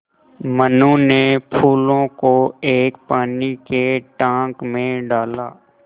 मनु ने फूलों को एक पानी के टांक मे डाला